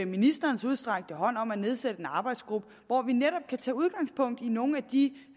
ministerens udstrakte hånd om at nedsætte en arbejdsgruppe hvor man netop kan tage udgangspunkt i nogle af de